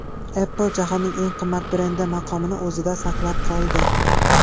Apple jahonning eng qimmat brendi maqomini o‘zida saqlab qoldi.